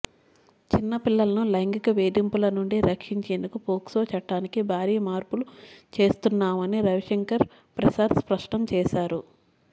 చిన్న పిల్లలను లైంగిక వేధింపుల నుండి రక్షించేందుకు పోక్సో చట్టానికి భారీ మార్పులు చేస్తున్నామని రవిశంకర్ ప్రసాద్ స్పష్టం చేశారు